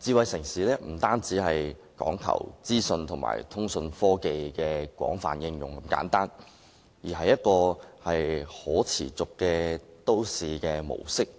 智慧城市不單講求資訊和通訊科技的廣泛應用，而且應從可持續都市模式的